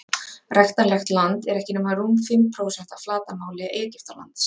ræktanlegt land er ekki nema rúm fimm prósent af flatarmáli egyptalands